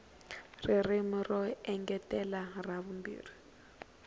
ririmi ro engetela ra vumbirhi